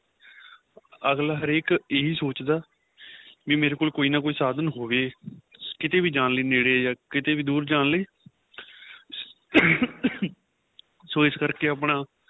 ਅੱਗਲਾ ਹਰੇਕ ਏਹੀ ਸੋਚਦਾ ਵੀ ਮੇਰੇ ਕੋਲ ਕੋਈ ਨਾ ਕੋਈ ਸਾਂਧਨ ਹੋਵੇ ਕਿਥੇ ਵੀ ਜਾਣ ਲਈ ਨੇੜੇ ਜਾਂ ਕਿਥੇ ਵੀ ਦੂਰ ਜਾਣ ਲਈ ਸ਼ੋ ਇਸ ਕਰਕੇ ਆਪਣਾ